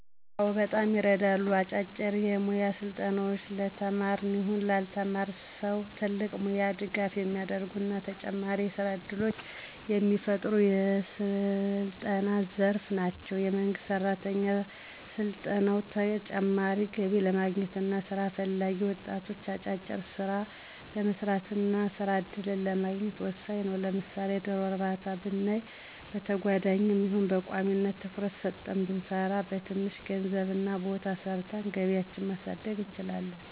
አዎ በጣም ይረዳሉ። አጫጭር የሞያ ስልጠናዎች ለተማረም ይሁን ላልተማረ ሰው ትልቅ ሙያዊ ድጋፍ የሚያረጉ እና ተጨማሪ የስራ እድሎችን የሚፈጥሩ የስልጠና ዘርፍ ናቸው። የመንግስት ሰራተኞች ሰልጥነው ተጨማሪ ገቢ ለማግኘት እና ስራ ፈላጊ ወጣቶች አጫጭር ስራዎችን ለመስራት እና የስራ እድልን ለማግኘት ወሳኝ ነው። ለምሳሌ ዶሮ እርባታ ብናይ በተጓዳኝም ይሁን በቋሚነት ትኩረት ሰጠን ብንሰራበት በትንሽ ገንዘብ እና ቦታ ሰርተን ገቢያችን ማሳደግ እንችላለን።